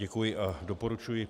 Děkuji a doporučuji